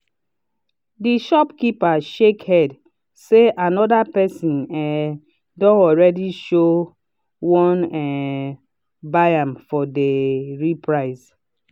the shopkeeper shake head say another person um don already show won um buy am for dey real price.